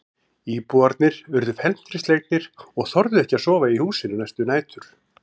Íbúarnir urðu felmtri slegnir og þorðu ekki að sofa í húsinu næstu nætur.